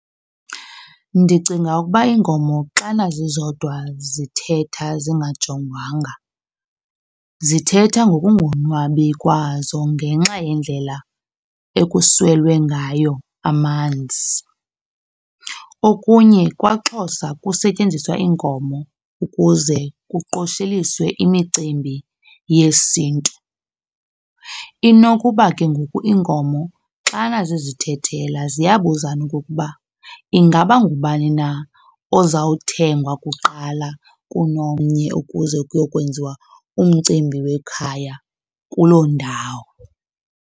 Ndicinga ukuba iinkomo xana zizodwa zithetha zingajongwanga, zithetha ngokungonwabi kwazo ngenxa yendlela ekuswele ngayo amanzi. Okunye kwaXhosa kusetyenziswa iinkomo ukuze kuqosheliswe imicimbi yesiNtu. Inokuba ke ngoku iinkomo xana zizithethela ziyabuzana okokuba ingaba ngubani na ozawuthengwa kuqala kunomnye ukuze kuyokwenziwa umcimbi wekhaya kuloo ndawo.